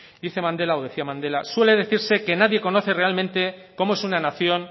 dice mandela o decía mandela suele decirse que nadie conoce realmente cómo es una nación